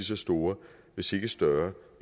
så store hvis ikke større